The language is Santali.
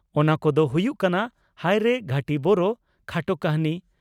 ᱚᱱᱟ ᱠᱚ ᱫᱚ ᱦᱩᱭᱩᱜ ᱠᱟᱱᱟ ᱺᱼ ᱦᱟᱭᱨᱮ ᱜᱷᱟᱹᱴᱤ ᱵᱳᱨᱳ (ᱠᱷᱟᱴᱚ ᱠᱟᱹᱦᱱᱤ)